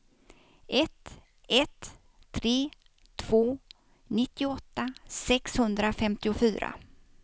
ett ett tre två nittioåtta sexhundrafemtiofyra